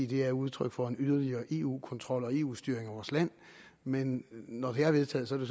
de er udtryk for en yderligere eu kontrol og eu styring af vores land men når de er vedtaget så er